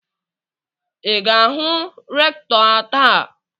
I ga-ahụ rektọ taa?